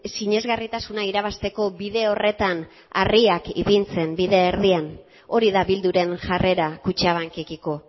sinesgarritasuna irabazteko bide horretan harriak ipintzen bide erdian hori da bilduren jarrera kutxabankekiko